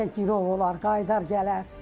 Bəlkə girov olar, qayıdar gələr.